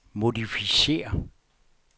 modificér